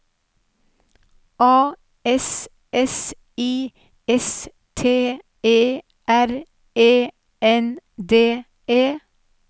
A S S I S T E R E N D E